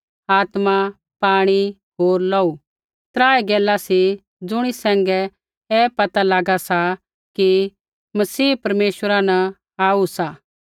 आत्मा पाणी होर लोहू त्राऐ गैला सा ज़ुणी सैंघै ऐ पता लागा सा कि मसीहा परमेश्वरा न आऊ सा